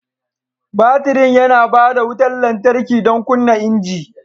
Batirin yana ba da wutar lantarki don kunna injin.